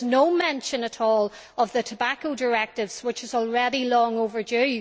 There is no mention at all of the tobacco directive, which is already long overdue.